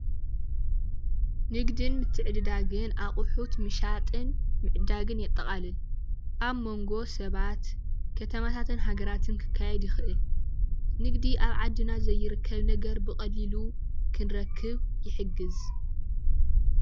ንግድን ምትዕድዳግን ኣቁሑት ምሻጥን ምዕዳግን የጠቃልል፡፡ ኣብ ሞንጎ ሰባት ከተማታትን ሃገራትን ክካየድ ይክእል። ንግዲ ኣብ ዓድና ዘይርከብ ነገር ብቀሊሉ ክንረክብ ይሕግዝ፡፡